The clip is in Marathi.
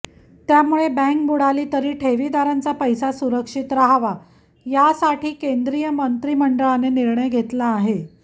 त्यामुळे बँक बुडाली तरी ठेवीदारांचा पैसा सुरक्षित राहावा यासाठी केंद्रीय मंत्रिमंडळाने निर्णय घेतला आहे